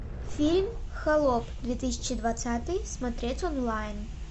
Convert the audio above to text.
фильм холоп две тысячи двадцатый смотреть онлайн